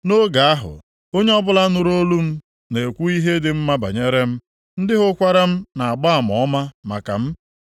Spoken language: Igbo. Nʼoge ahụ, onye ọbụla nụrụ olu m na-ekwu ihe dị mma banyere m, ndị hụkwara m na-agba ama ọma maka m.